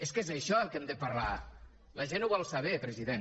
és que és d’això que hem de parlar la gent ho vol saber president